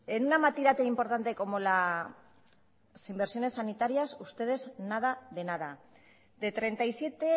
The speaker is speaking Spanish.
en una materia tan importante como las inversiones sanitarias ustedes nada de nada de treinta y siete